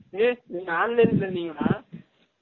ஏய் நீங்க online ல எலுதுனீங்க டா